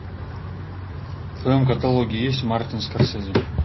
в твоем каталоге есть мартин скорсезе